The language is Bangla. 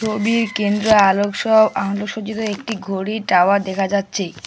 ছবির কেন্দ্রে আলোকসহ আলোকসজ্জিত একটি ঘড়ির টাওয়ার দেখা যাচ্ছে।